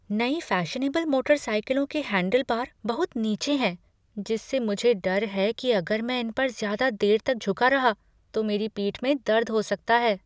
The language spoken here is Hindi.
नई फैशनेबल मोटरसाइकिलों के हैंडलबार बहुत नीचे हैं जिससे मुझे डर है कि अगर मैं इम पर ज़्यादा देर तक झुका रहा तो मेरी पीठ में दर्द हो सकता है।